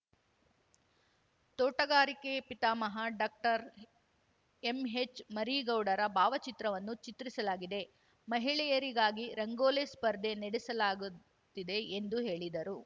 ತೋಟಗಾರಿಕೆ ಪಿತಾಮಹ ಡಾಕ್ಟರ್ಎಂಹೆಚ್‌ಮರಿಗೌಡರ ಭಾವಚಿತ್ರವನ್ನು ಚಿತ್ರಿಸಲಾಗಿದೆ ಮಹಿಳೆಯರಿಗಾಗಿ ರಂಗೋಲಿ ಸ್ಪರ್ಧೆ ನಡೆಸಲಾಗುತ್ತಿದೆ ಎಂದು ಹೇಳಿದರು